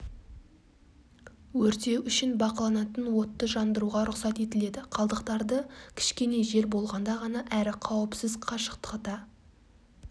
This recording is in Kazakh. өртеу үшін бақыланатын отты жандыруға рұқсат етіледі қалдықтарды кішкене жел болғанда ғана әрі қауіпсіз қашықтықта